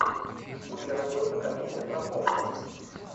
у тебя найдется комедия про похороны